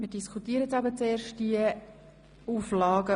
Wir diskutieren die darin enthaltenen Auflagen.